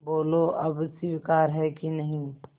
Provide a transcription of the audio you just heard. बोलो अब स्वीकार है कि नहीं